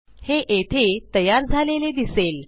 हे येथे तयार झालेले दिसेल